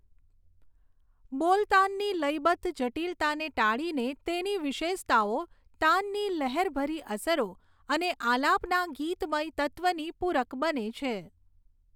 બોલતાનની લયબદ્ધ જટિલતાને ટાળીને તેની વિશેષતાઓ તાનની લહેરભરી અસરો અને આલાપના ગીતમય તત્ત્વની પૂરક બને છે.